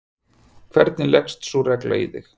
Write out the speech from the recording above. hvernig leggst sú regla í þig?